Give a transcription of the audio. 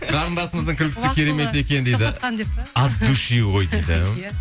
қарындасымыздың күлкісі керемет екен дейді от души ғой дейді